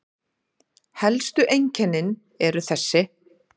Helstu einkennin eru þessi